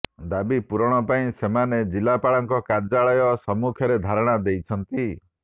ଦାବି ପୂରଣ ପାଇଁ ସେମାନେ ଜିଲ୍ଲାପାଳଙ୍କ କାର୍ଯ୍ୟାଳୟ ସମ୍ମୁଖରେ ଧାରଣା ଦେଇଛନ୍ତି